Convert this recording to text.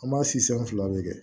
An b'a si san fila de kɛ